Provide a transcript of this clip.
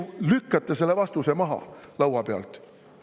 Te ju lükkate selle vastuse laua pealt maha.